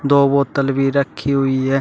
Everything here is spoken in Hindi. दो बोतल भी रखी हुई है।